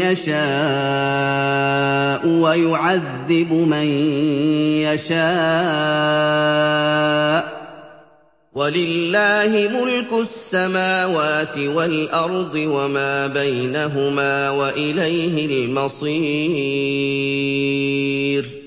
يَشَاءُ وَيُعَذِّبُ مَن يَشَاءُ ۚ وَلِلَّهِ مُلْكُ السَّمَاوَاتِ وَالْأَرْضِ وَمَا بَيْنَهُمَا ۖ وَإِلَيْهِ الْمَصِيرُ